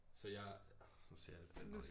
Så jeg nu sagde jeg det fandme også